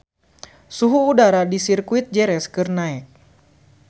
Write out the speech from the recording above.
Suhu udara di Sirkuit Jerez keur naek